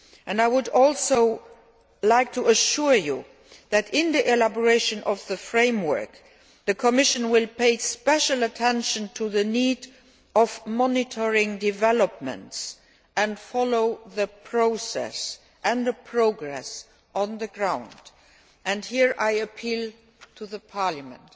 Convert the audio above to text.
I would also like to assure you that in drawing up the framework, the Commission will pay special attention to the need to monitor developments and follow the process and the progress on the ground, and here I appeal to Parliament.